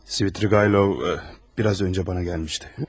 Svidriqaylov biraz öncə mənə gəlmişdi.